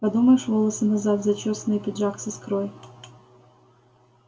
подумаешь волосы назад зачёсаны и пиджак с искрой